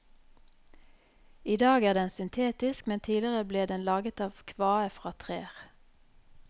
I dag er den syntetisk, men tidligere ble den laget av kvae fra trær.